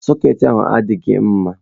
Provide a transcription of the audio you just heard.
Sọcketị ahụ adịghị mma.